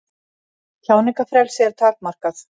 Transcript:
Tjáningarfrelsi er takmarkað